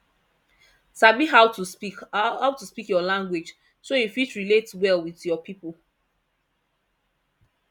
sabi how to speak how to speak your language so you fit relate well with your people